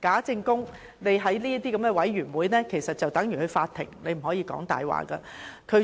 在這類委員會的會議上作證，其實等同上法庭，不可以說謊。